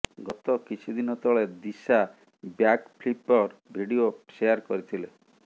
ଗତ କିଛି ଦିନ ତଳେ ଦିଶା ବ୍ୟାକ୍ ଫ୍ଳିପର ଭିଡିଓ ସେୟାର କରିଥିଲେ